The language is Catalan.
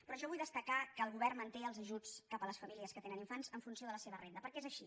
però jo vull destacar que el govern manté els ajuts cap a les famílies que tenen infants en funció de la se·va renda perquè és així